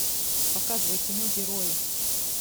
показывай кино герои